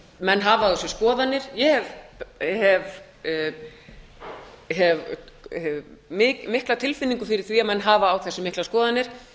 menn hafa á þessu skoðanir ég hef mikla tilfinningu fyrir því að menn hafi á þessu miklar skoðanir